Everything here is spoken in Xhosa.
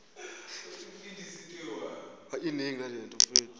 ngeentloni mhla wumbi